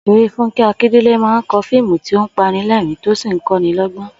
Ò̩sè̩ré Fúnké̩ Akíndèlé máa ń ko̩ fíìmù tí ó panilé̩rìn-ín tó sì ń kó̩niló̩gbó̩n